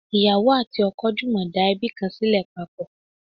ìyàwó ati oko jumọ da ebi kan sile papọ